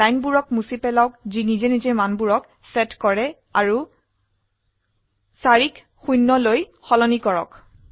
লাইনবোৰক মুছি পেলাওক যি নিজে নিজে মানবোৰক সেট কৰে আৰু 4 ক 0 লৈ সলনি কৰক